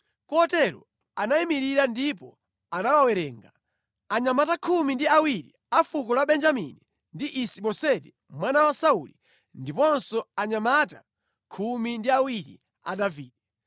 Kotero anayimirira ndipo anawawerenga: anyamata khumi ndi awiri a fuko la Benjamini ndi Isi-Boseti mwana wa Sauli ndiponso anyamata khumi ndi awiri a Davide.